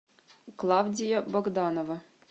клавдия богданова